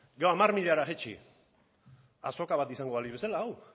hamar milara jaitsi azoka bat izango balitz bezala hau